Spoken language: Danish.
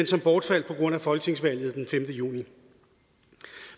som bortfaldt på grund af folketingsvalget den femte juni